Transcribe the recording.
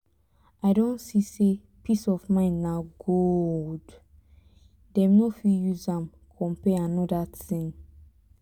i don see say peace of mind na gold dem no fit use am compare anoda thing